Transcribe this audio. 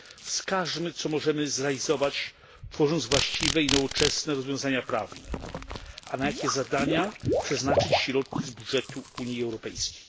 Wskażmy, co możemy zrealizować, tworząc właściwe i nowoczesne rozwiązania prawne, a na jakie zadania przeznaczyć środki z budżetu Unii Europejskiej.